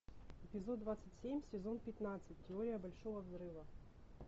эпизод двадцать семь сезон пятнадцать теория большого взрыва